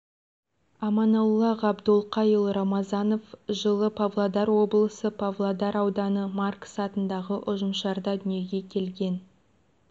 аманолла ғабдолқайұлы рамазанов жылы павлодар облысы павлодар ауданы маркс атындағы ұжымшарда дүниеге келген